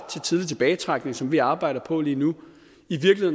til tidlig tilbagetrækning som vi arbejder på lige nu